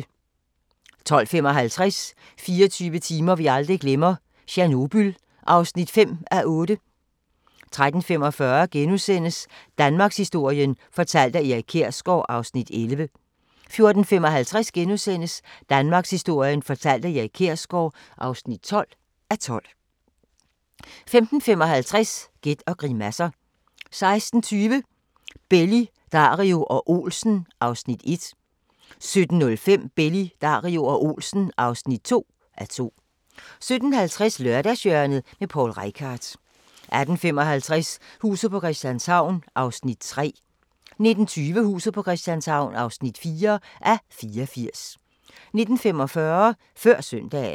12:55: 24 timer vi aldrig glemmer: Tjernobyl (5:8) 13:45: Danmarkshistorien fortalt af Erik Kjersgaard (11:12)* 14:55: Danmarkshistorien fortalt af Erik Kjersgaard (12:12)* 15:55: Gæt og grimasser 16:20: Belli, Dario og Olsen (1:2) 17:05: Belli, Dario og Olsen (2:2) 17:50: Lørdagshjørnet – Poul Reichhardt 18:55: Huset på Christianshavn (3:84) 19:20: Huset på Christianshavn (4:84) 19:45: Før Søndagen